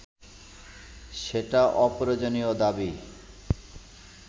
সেটা অপ্রয়োজনীয় দাবী